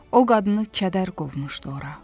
O qadını kədər qovmuşdu ora.